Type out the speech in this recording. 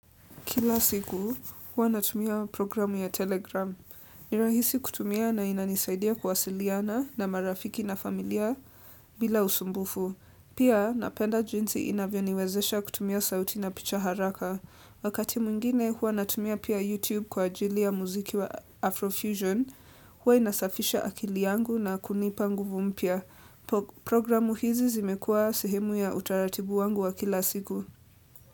Kila siku, hua natumia programu ya Telegram. Nirahisi kutumia na inanisaidia kuwasiliana na marafiki na familia bila usumbufu. Pia, napenda jinsi inavyo niwezesha kutumia sauti na picha haraka. Wakati mwingine, hua natumia pia YouTube kwa ajili ya muziki wa Afrofusion. Huwa inasafisha akili yangu na kunipa nguvumpya. Programu hizi zimekua sihemu ya utaratibu wangu wa kila siku.